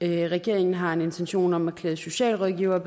regeringen har en intention om at klæde socialrådgivere